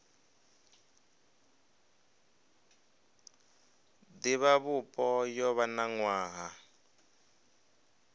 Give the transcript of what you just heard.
divhavhupo yo vha na nwaha